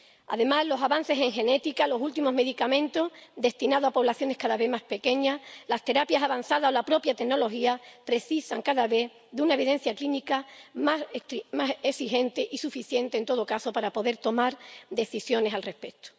Además, los avances en genética, los últimos medicamentos destinados a poblaciones cada vez más pequeñas, las terapias avanzadas o la propia tecnología precisan cada vez de una evidencia clínica más exigente, y suficiente en todo caso para poder tomar decisiones al respecto.